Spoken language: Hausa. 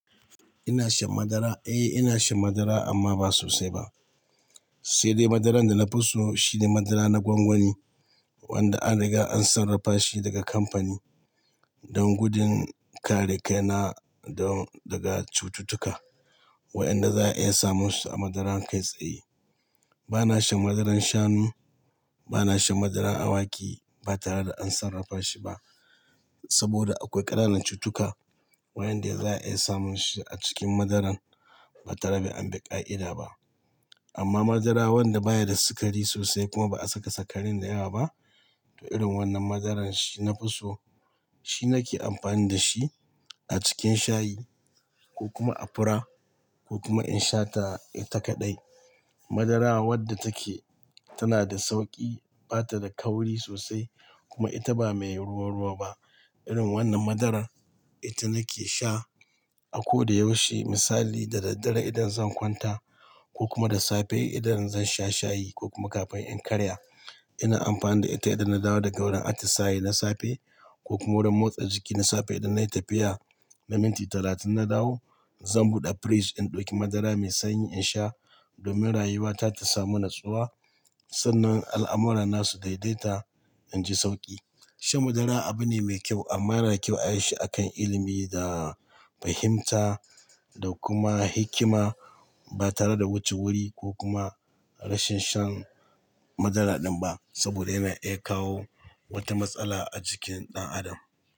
Ina shan madara? Eh, ina shan madara amma ba sosai ba. Sai dai madaran da na fi so shine madara na gwangwani wanda an riga an sarrafa shi daga kamfani don gudun kare kaina daga cututtuka waɗanda za a iya samun su a madaran kai tsaye. Bana shan madaran shanu, bana shan madaran awaki ba tare da an sarrafa shi ba saboda akwai ƙananan cututtuka waɗanda za a iya samun su a cikin madaran ba tare da an bi ƙa'ida ba. Amma madara wanda baya da sikari sosai kuma ba a saka sukarin dayawa ba, to irin wannan madaran shi na fi so. Shi nake amfani da shi a cikin shayi ko kuma a fura ko kuma in sha ta kaɗai. Madara wadda take tana da sauƙi, bata da kauri sosai kuma ita ba mai ruwa-ruwa ba. Irin wannan madarar ita nake sha a koda yaushe. Misali, da daddare idan zan kwanta ko kuma da safe idan zan sha shayi ko kuma kafin in karya. Ina amfani da ita idan na dawo daga wurin atisaye na safe ko kuma wurin motsa jiki na safe idan nayi tafiya na minti talatin na dawo, zan buɗe firij in ɗauki madara mai sanyi in sha domin rayuwa ta ta samu natsuwa sannan al'amura na su daidaita, inji sauƙi. Shan madara abu ne mai kyau amma yana kyau ayi shi a kan ilimi da fahimta da kuma hikima ba tare da wuce wuri ko kuma rashin shan madara ɗin ba saboda yana iyan kawo wata matsala a jikin ɗan adam.